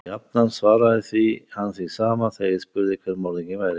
Og jafnan svaraði hann því sama, þegar ég spurði hver morðinginn væri.